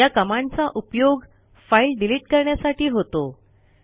या कमांडचा उपयोग फाईल डिलिट करण्यासाठी होतो